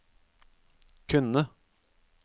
kunne